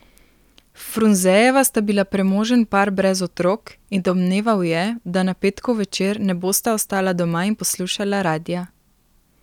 Frunzejeva sta bila premožen par brez otrok in domneval je, da na petkov večer ne bosta ostala doma in poslušala radia.